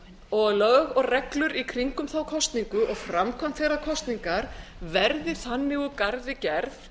og lög og reglur í kringum þá kosningu og framkvæmd þeirrar kosningar verði þannig úr garði gerð